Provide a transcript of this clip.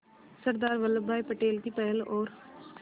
सरदार वल्लभ भाई पटेल की पहल और